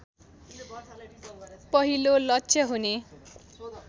पहिलो लक्ष्य हुने